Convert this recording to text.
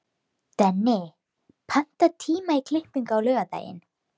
Denni, pantaðu tíma í klippingu á laugardaginn.